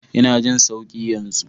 Ina jin sauki yanzu.